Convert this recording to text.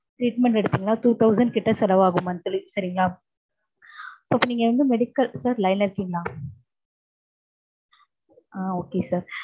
treatment எடுத்திங்கன்னா two thousand கிட்ட செலவாகும் சரிங்களா? அப்போ இப்போ நீங்க வந்து medical sir line ல இருக்கீங்களா? ஆஹ் okay sir